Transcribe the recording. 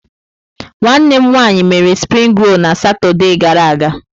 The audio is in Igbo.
Nwanne m nwanyị mere springi rol na Satọde gara aga.